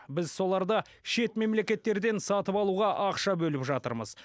біз соларды шет мемлекеттерден сатып алуға ақша бөліп жатырмыз